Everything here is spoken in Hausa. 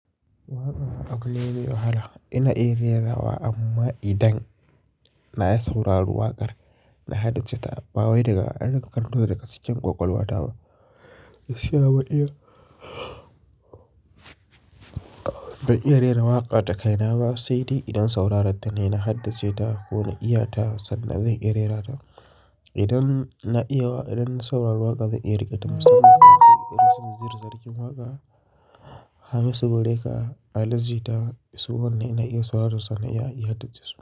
Waƙa abu ne mai wahala ina iya rera wa amma idan na yi sauraron waƙar na haddace ta. Ba wai daga adon takardu da kasancewar ƙwaƙwalwa ta ba. Fiya ba iya, ba iya rera waƙa ta kai na ba sai dai idan sauraron ta ne na haddace ta ko na iya ta sannan zai iya rerata. Idan na iya wa, idan na saurari waƙa zai iya riƙe ta musamman idan akwai irin su Naziru sarkin waƙa, hamisu breaker, ali jita su wanne ina iya sauraro sannan ya iya haddace su.